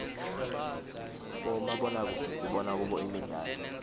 bomabonakudze sibona kubo imdlalo